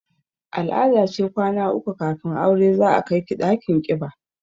Al-ada ce kwana uku kafin aure za a kai ki ɗakin ƙiba